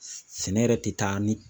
Sɛ sɛ Sɛnɛ yɛrɛ ti taa ni